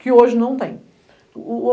que hoje não tem.